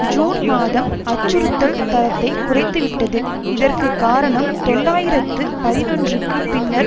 June மாதம் அச்சுறுத்தல் தரத்தை குறைத்துவிட்டது இதற்கு காரணம் தொள்ளாயிரத்து பதினொன்றுக்கு பின்னர்